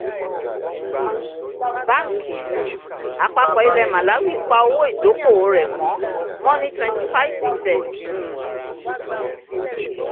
banki um àpapọ̀ ilẹ̀ màláwì pa owó ìdókòwò rẹ̀ mọ́ mọ́ ní twenty five percent um